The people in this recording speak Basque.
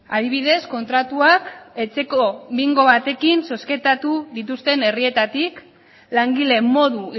adibidez kontratuak etxeko bingo batekin zozketatu dituzten herrietatik langile modu